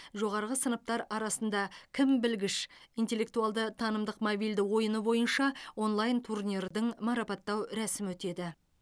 жоғарғы сыныптар арасында кім білгіш интеллектуалды танымдық мобильді ойыны бойынша онлайн турнирдің марапаттау рәсімі өтеді